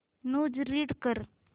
news read कर